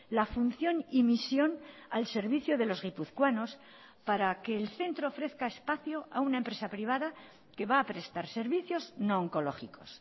la función y misión al servicio de los guipuzcoanos para que el centro ofrezca espacio a una empresa privada que va a prestar servicios no oncológicos